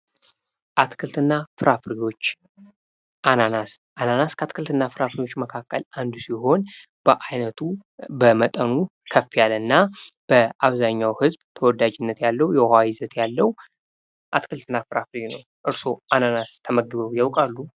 አትክልትና ፍራፍሬዎች አናናስ ፡-አናናስ ከፍራፍሬዎች መካከል አንዱ ሲሆን ባይነቱ በመጠኑ ከፍ ያለ እና በአብዛኛው ህዝብ ተወዳጅነት ያለው የውሃ ይዘት ያለው አትክልትና ፍራፍሬ ነው። እርሶ አናናስ ተመግበው ያውቃሉ።